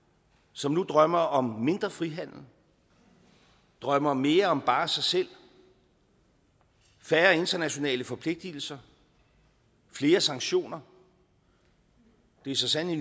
som nu drømmer om mindre frihandel drømmer om mere bare sig selv færre internationale forpligtelser flere sanktioner det er så sandelig